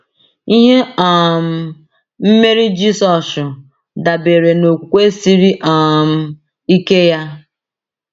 Ihe um mmeri Jisọshụ dabere n’okwukwe siri um ike ya.